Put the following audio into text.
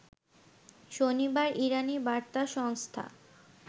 শনিবার ইরানি বার্তা সংস্থা